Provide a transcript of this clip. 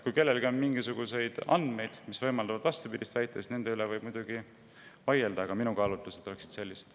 Kui kellelgi on mingisuguseid andmeid, mis võimaldavad vastupidist väita, siis nende üle võib muidugi vaielda, aga minu kaalutlused oleksid sellised.